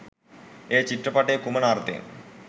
එය චිත්‍රපටයේ කුමන අර්ථයෙන්